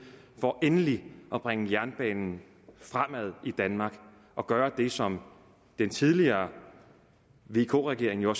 for endelig at bringe jernbanen fremad i danmark og gøre det som den tidligere vk regering jo